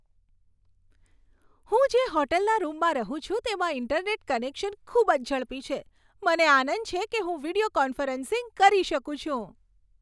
હું જે હોટલના રૂમમાં રહું છું તેમાં ઇન્ટરનેટ કનેક્શન ખૂબ જ ઝડપી છે. મને આનંદ છે કે હું વીડિયો કોન્ફરન્સિંગ કરી શકું છું.